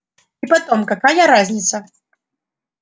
и потом какая разница